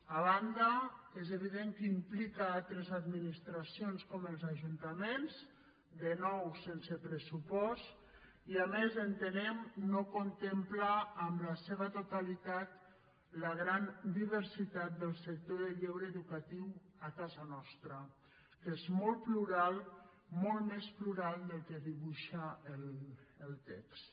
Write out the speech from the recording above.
a banda és evident que implica altres administracions com els ajuntaments de nou sense pressupost i a més entenem no contempla en la seva totalitat la gran diversitat del sector del lleure educatiu a casa nostra que és molt plural molt més plural del que dibuixa el text